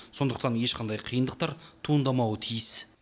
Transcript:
сондықтан ешқандай қиындықтар туындамауы тиіс